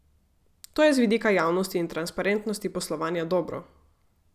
To je z vidika javnosti in transparentnosti poslovanja dobro.